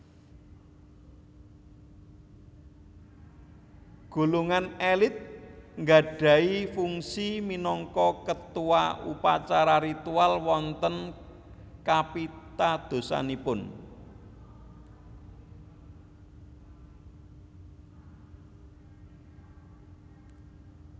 Golongan elit nggadhahi fungsi minangka ketua upacara ritual wonten kapitadosanipun